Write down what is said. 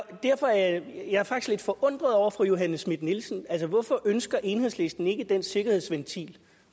og derfor er jeg faktisk lidt forundret over fru johanne schmidt nielsen altså hvorfor ønsker enhedslisten ikke den sikkerhedsventil